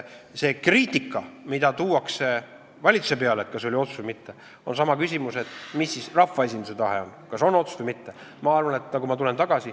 See kriitika, mida tehakse valitsuse kohta, et kas see oli otsus või mitte, on nagu seesama küsimus, et mis siis on rahvaesinduse tahe, kas on otsus või mitte.